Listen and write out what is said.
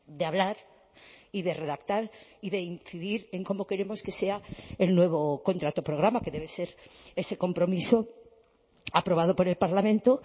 de hablar y de redactar y de incidir en cómo queremos que sea el nuevo contrato programa que debe ser ese compromiso aprobado por el parlamento